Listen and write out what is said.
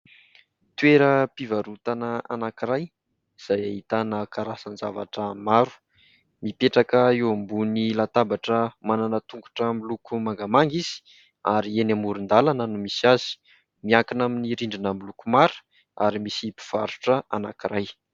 Toeram-pivarotana anankiray izay ahitana karazan-javatra maro mipetraka eo ambonin'ny latabatra manana tongotra miloko mangamanga izy ary eny amoron-dalana no misy azy. Miankina amin'ny rinndrina miloko mara ary misy mpivarotra anankiray.